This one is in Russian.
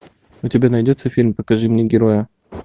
у тебя найдется фильм покажи мне героя